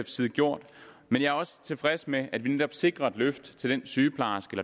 side gjort men jeg er også tilfreds med at vi netop sikrer et løft til sygeplejersken